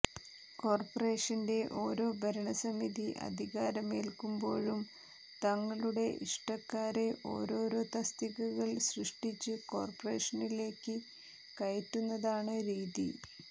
കോർപ്പറേഷന്റെ ഒരോ ഭരണസമിതി അധികാരമേൽക്കുമ്പോഴും തങ്ങളുടെ ഇഷ്ടക്കാരെ ഒരോരോ തസ്തികകൾ സൃഷ്ടിച്ച് കോർപ്പറേഷനിലേക്ക് കയറ്റുന്നതാണ് രീതി